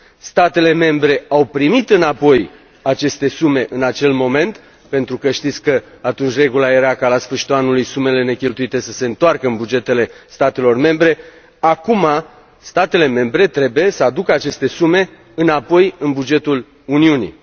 statele membre au primit înapoi aceste sume în acel moment, pentru că știți că atunci regula era ca, la sfârșitul anului, sumele necheltuite să se întoarcă în bugetele statelor membre, acum statele membre trebuie să aducă aceste sume înapoi la bugetul Uniunii.